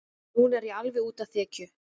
Núna er ég alveg úti á þekju.